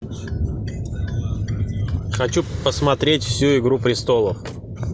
хочу посмотреть всю игру престолов